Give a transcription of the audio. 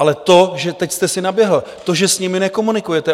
Ale to, že teď jste si naběhl, to, že s nimi nekomunikujete.